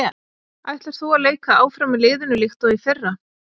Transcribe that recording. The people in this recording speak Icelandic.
Ætlar þú að leika áfram með liðinu líkt og í fyrra?